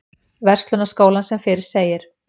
Verslunarskólann sem fyrr segir.